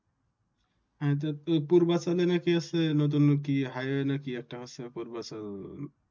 হ্যাঁ তো পূর্বাচলে নাকি আছে নতুন কি High Way নাকি কি একটা আছে